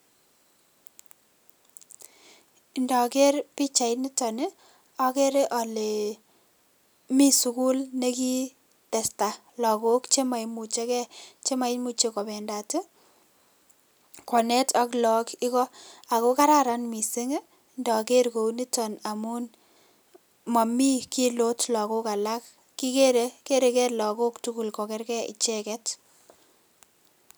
indoker pichait niton ii akere alee mi sukul ne kii testa Lagok che moimucheke, chemoimuche kobendat ii konet ak Lagok Iko ako kararan mising ii ndoker kou niton amun momi kilot Lagok alak kikere, kereke Lagok tugul koerkee icheket.